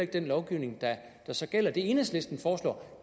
den lovgivning der så gælder det enhedslisten foreslår